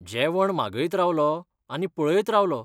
जेवण मागयत रावलों आनी पळयत रावलों.